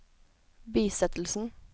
bisettelsen